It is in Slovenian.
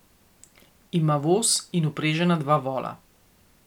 Ima voz in vprežena dva vola.